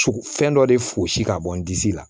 Fɛn dɔ de fosi ka bɔ n disi la